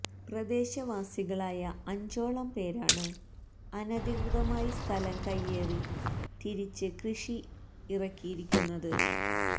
പ്രദേശവാസികളായ അഞ്ചോളം പേരാണ് അനധികൃതമായി സ്ഥലം കയ്യേറി തിരിച്ച് കൃഷി ഇറക്കിയിരിക്കുന്നത്